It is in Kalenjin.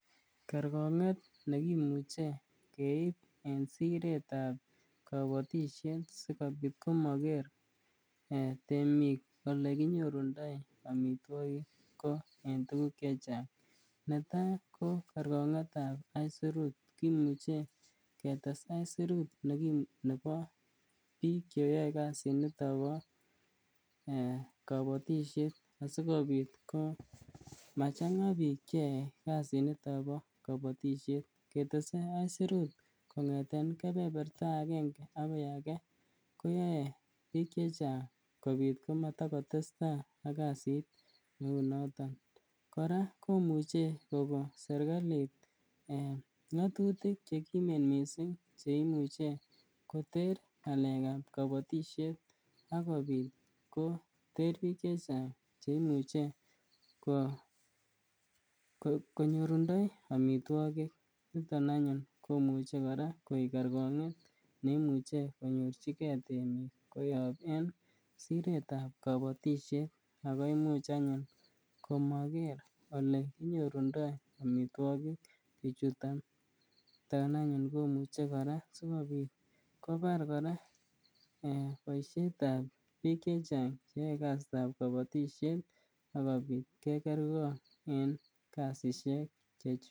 Kerkonget nekimuche keib en siretab kobotishet sikobit komaker temik olekinyorundo amitwokik ko en tukuk chechang, netaa ko kerkongetab aisurut, kimuche ketes aisirut nebo biik cheyoe kasiniton bo eeh kobotishet asikobit ko machanga biik cheyoe kasiniton bo kobotishet ketese aisirut kongeten kebeberta akenge akoi akee koyoe biik chechang kobiit komata kotesta ak kasit neu noton, kora komuche koko serikalit ngotutik chekimen mising cheimuche koter ngalekab kobotishet ak kobiit koter biik chechang chemuche konyorundo amitwokik, niton anyun komuche kora koib kerkonget neimuche konyorchike temik koyob siretab kobotishet ak ko imuch anyun komoker elenyorundo amitwokik bichuton, niton anyun komuche kora simabit kobar kora boishetab biik chechang cheyoe kasitab kobotishet akobit kekerkong en kasishek chechwak.